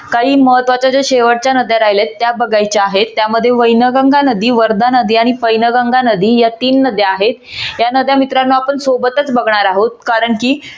काही महत्वाच्या ज्या शेवटच्या नद्या राहिल्या आहेत त्या बघायच्या आहेत. त्यामध्ये वैनगंगा नदी वर्धा नदी आणि पैनगंगा नदी या तीन नद्या आहेत या नद्या मित्रानो आपण सोबतच बघणार आहोत कारण कि